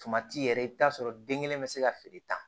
Tomati yɛrɛ i bi t'a sɔrɔ den kelen bɛ se ka feere tan